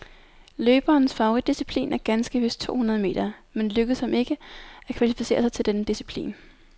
Løberens favoritdisciplin er ganske vist to hundrede meter, men det lykkedes ham ikke at kvalificere sig til denne disciplin.